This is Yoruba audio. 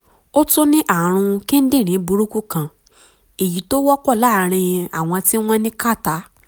ó tún ní ààrùn kíndìnrín burúkú kan èyí tó wọ́pọ̀ láàárín àwọn tí wọ́n ní kàtá